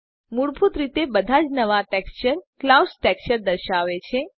મૂળભૂત રીતે બધા જ નવા ટેક્સચર ક્લાઉડ્સ ટેક્સચર દર્શાવે છે